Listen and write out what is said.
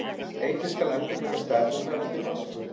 Einnig skal endurmeta stærð hennar eftir barnsburð.